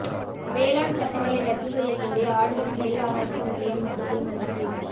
வேளாண் சட்டங்களை ரத்து செய்யக்கோரி ஆடுதுறை நெல் ஆராய்ச்சி நிலையம் முற்றுகை முயற்சி